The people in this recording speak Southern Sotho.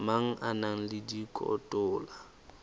mang a na le dikotola